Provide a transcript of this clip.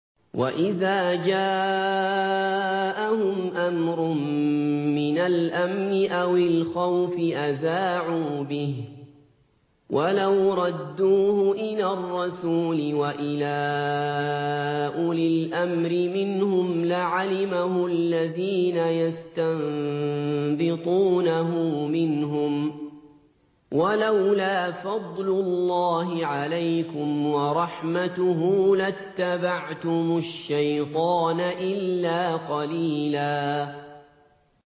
وَإِذَا جَاءَهُمْ أَمْرٌ مِّنَ الْأَمْنِ أَوِ الْخَوْفِ أَذَاعُوا بِهِ ۖ وَلَوْ رَدُّوهُ إِلَى الرَّسُولِ وَإِلَىٰ أُولِي الْأَمْرِ مِنْهُمْ لَعَلِمَهُ الَّذِينَ يَسْتَنبِطُونَهُ مِنْهُمْ ۗ وَلَوْلَا فَضْلُ اللَّهِ عَلَيْكُمْ وَرَحْمَتُهُ لَاتَّبَعْتُمُ الشَّيْطَانَ إِلَّا قَلِيلًا